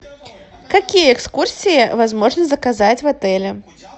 какие экскурсии возможно заказать в отеле